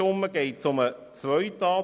– Ich sehe keinen Widerstand.